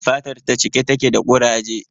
Fatar ta cike take da ƙuraje